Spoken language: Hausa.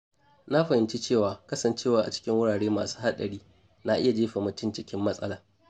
Na fahimci cewa kasancewa a cikin wurare masu haɗari na iya jefa mutum cikin matsala.